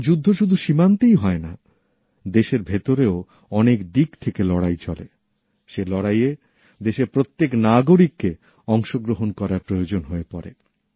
এখন যুদ্ধ শুধু সীমান্তেই হয় নাদেশের ভেতরেও অনেক দিক থেকে লড়াই চলে সে লড়াইয়ে দেশের প্রত্যেক নাগরিককে অংশগ্রহণ করার প্রয়োজন হয়ে পড়ে